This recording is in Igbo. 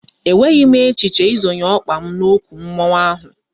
E nweghị m echiche ị zonye ọkpa m n'okwu mmụọ ahụ